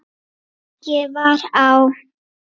Ég var á